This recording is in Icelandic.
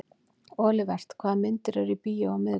Olivert, hvaða myndir eru í bíó á miðvikudaginn?